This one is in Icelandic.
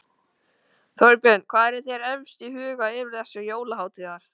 Þorbjörn: Hvað er þér efst í huga yfir þessar jólahátíðar?